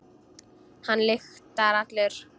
Hann lyktar allur.